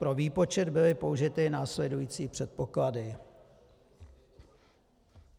Pro výpočet byly použity následující předpoklady.